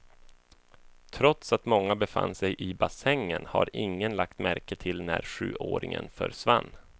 Trots att många befann sig i bassängen har ingen lagt märke till när sjuåringen försvann.